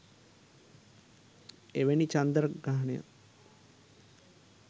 එවැනි චන්ද්‍රග්‍රහණයක්